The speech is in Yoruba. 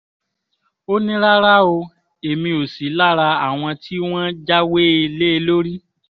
ó ní rárá o èmi ò sí lára àwọn tí wọ́n jáwé lé e lórí